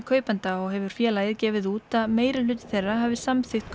kaupanda og hefur félagið gefið út að meirihluti þeirra hafi samþykkt